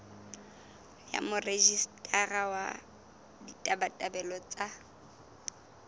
ya morejistara wa ditabatabelo tsa